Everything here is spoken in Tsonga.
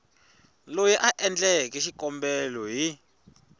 loyi a endleke xikombelo hi